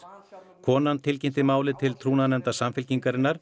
konan tilkynnti málið til trúnaðarnefndar Samfylkingarinnar